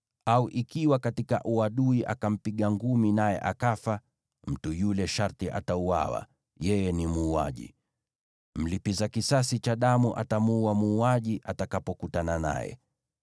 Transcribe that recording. au ikiwa katika uadui akampiga ngumi naye akafa, mtu yule sharti atauawa; yeye ni muuaji. Mlipiza kisasi cha damu atamuua muuaji atakapokutana naye.